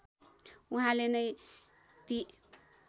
उहाँले नै ती